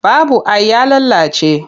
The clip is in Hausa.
Babu ai ya lalace.